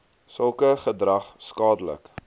sulke gedrag skadelik